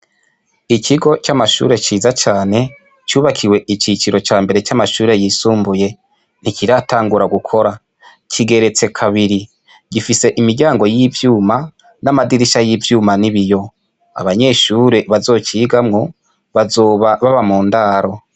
Ikigo c'amashure ciza cane, cubakiwe iciciro cambere c'amashure yisumbuye, ntikiratangura gukora, kigeretse kabiri. Gifise imiryango y'icuma, n'amadirisha y'ivyuma n'ibiyo. Abanyeshure bazocigamwo, bazoba baba mu ndaro.